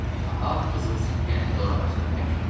Ahav qızıl sikkəni dor ağacına bərkitdi.